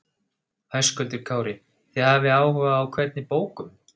Höskuldur Kári: Þið hafið áhuga á hvernig bókum?